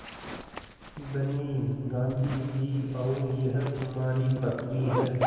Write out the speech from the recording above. धनी गाँधी जी और यह तुम्हारी बकरी है